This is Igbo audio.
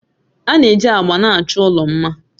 A na-eji agba na-achọ ụlọ mma